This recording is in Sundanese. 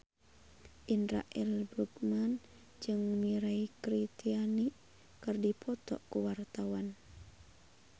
Indra L. Bruggman jeung Mirei Kiritani keur dipoto ku wartawan